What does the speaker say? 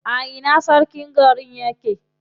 A ina sarkin garin yake?